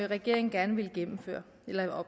regeringen gerne ville